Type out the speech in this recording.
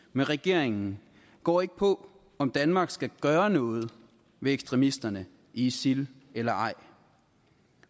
med regeringen går ikke på om danmark skal gøre noget ved ekstremisterne i isil eller ej